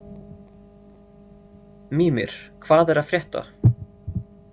Mímir, hvað er að frétta?